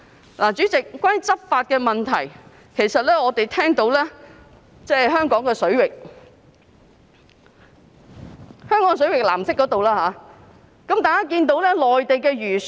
代理主席，關於執法問題，我們聽聞有人在香港水域，即藍色範圍，見到內地漁船。